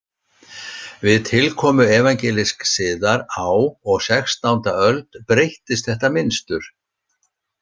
Við tilkomu evangelísks siðar á og sextánda öld breyttist þetta mynstur.